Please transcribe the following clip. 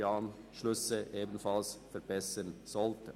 die Anschlüsse werden also auch in dieser Region verbessert werden.